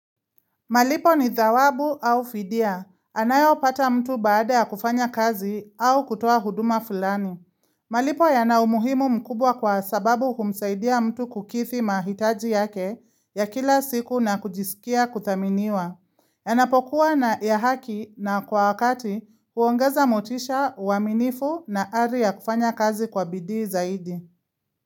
Malipo ni dhawabu au fidia. Anayopata mtu baada ya kufanya kazi au kutoa huduma fulani. Malipo yana umuhimu mkubwa kwa sababu humsaidia mtu kukidhi mahitaji yake ya kila siku na kujisikia kuthaminiwa. Yanapokuwa ya haki na kwa wakati huongeza motisha, uaminifu na ari ya kufanya kazi kwa bidii zaidi.